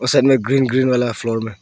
और side green green वाला floor में।